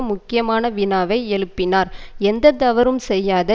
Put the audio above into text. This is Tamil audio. முக்கியமான வினாவை எழுப்பினார் எந்த தவறும் செய்யாத